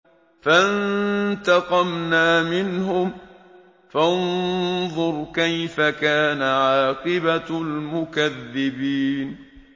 فَانتَقَمْنَا مِنْهُمْ ۖ فَانظُرْ كَيْفَ كَانَ عَاقِبَةُ الْمُكَذِّبِينَ